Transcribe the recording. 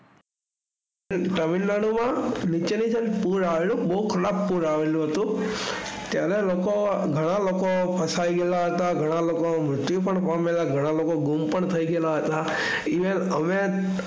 તામિળનાડુ માં પૂર આવેલું બહુ ખરાબ પૂર આવેલું ત્યાંના લોકો ઘણા લોકો ફસાયેલા હતા ઘણા લોકો મૃત્યુ પણ પામેલા હતા અને ઘણા લોકો ઘઉં પણ થયેલ હતા અને અમે,